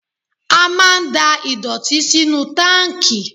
A máa ń da ìdọ̀tí sínú táǹkì.